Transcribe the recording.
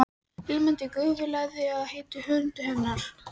Ilmandi gufu lagði upp af heitu hörundi hennar.